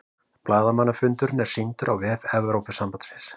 Blaðamannafundurinn er sýndur á vef Evrópusambandsins